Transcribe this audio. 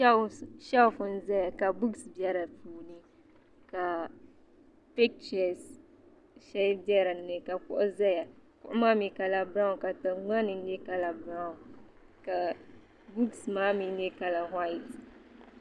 sheelf n ʒɛya ka buuks bɛ dinni ka pichɛs shɛli bɛ dinni ka kuɣu ʒɛya kuɣu maa mii kala biraawn ka tingbanni nyɛ kala biraawn ka buuks maa mii nyɛ kala whait